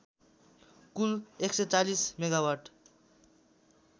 Kul १४० megawatt